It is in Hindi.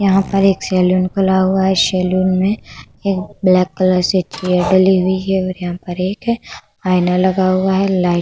यहाँ पर एक सैलून खुला हुआ है। सैलून में एक ब्लैक कलर सी चेयर डली हुई है और यहाँ पर एक आईना लगा हुआ है। लाइट --